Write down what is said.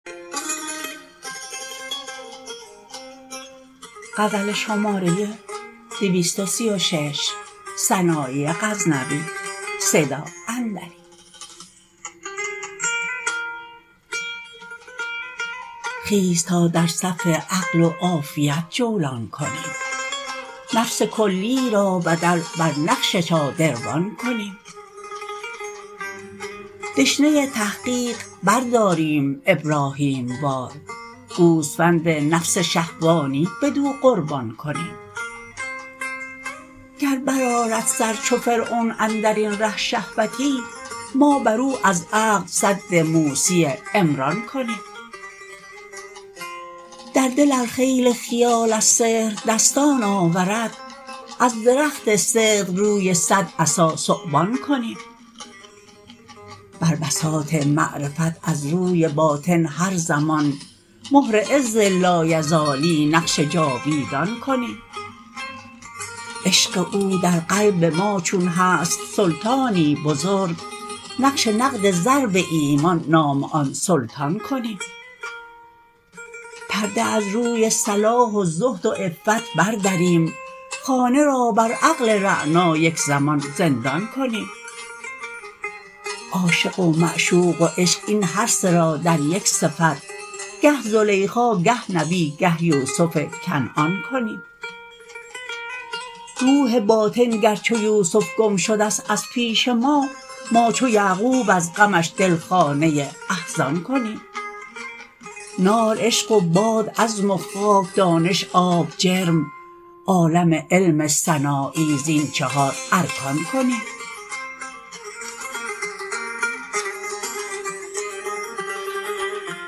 خیز تا در صف عقل و عافیت جولان کنیم نفس کلی را بدل بر نقش شادروان کنیم دشنه تحقیق برداریم ابراهیم وار گوسفند نفس شهوانی بدو قربان کنیم گر برآرد سر چو فرعون اندرین ره شهوتی ما بر او از عقل سد موسی عمران کنیم در دل ار خیل خیال از سحر دستان آورد از درخت صدق روی صد عصا ثعبان کنیم بر بساط معرفت از روی باطن هر زمان مهر عز لایزالی نقش جاویدان کنیم عشق او در قلب ما چون هست سلطانی بزرگ نقش نقد ضرب ایمان نام آن سلطان کنیم پرده از روی صلاح و زهد و عفت بردریم خانه را بر عقل رعنا یک زمان زندان کنیم عاشق و معشوق و عشق این هر سه را در یک صفت گه زلیخا گه نبی گه یوسف کنعان کنیم روح باطن گر چو یوسف گم شدست از پیش ما ما چو یعقوب از غمش دل خانه احزان کنیم نار عشق و باد عزم و خاک دانش آب جرم عالم علم سنایی زین چهار ارکان کنیم